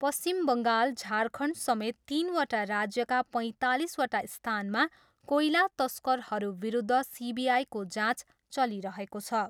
पश्चिम बङ्गाल, झारखण्ड समेत तिनवटा राज्यका पैँतालिसवटा स्थानमा कोइला तस्करहरू विरुद्ध सिबिआईको जाँच चलिरहेको छ।